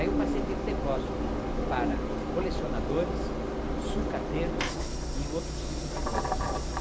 Aí eu passei a ter um depósito para colecionadores, sucateiros e outros tipos de coisa.